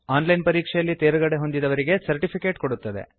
on line ಪರೀಕ್ಷೆಯಲ್ಲಿ ತೇರ್ಗಡೆಹೊಂದಿದವರಿಗೆ certificate ಕೊಡುತ್ತದೆ